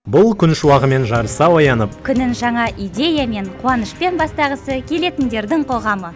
бұл күн шуағымен жарыса оянып күнін жаңа идеямен қуанышпен бастағысы келетіндердің қоғамы